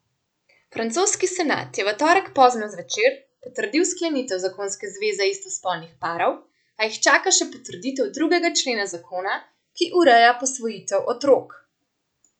Francoski senat je v torek pozno zvečer potrdil sklenitev zakonske zveze istospolnih parov, a jih čaka še potrditev drugega člena zakona, ki ureja posvojitev otrok.